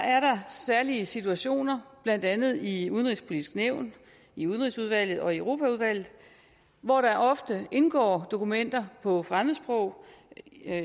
er der særlige situationer blandt andet i det udenrigspolitiske nævn i udenrigsudvalget og i europaudvalget hvor der ofte indgår dokumenter på fremmedsprog